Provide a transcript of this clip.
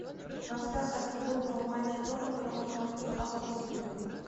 трансляция футбольного матча тоттенхэма против астон виллы